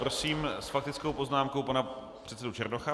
Prosím s faktickou poznámkou pana předsedu Černocha.